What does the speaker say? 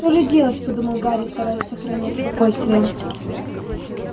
что же делать подумал гарри стараясь сохранять спокойствие